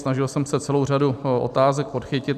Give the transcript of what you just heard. Snažil jsem se celou řadu otázek podchytit.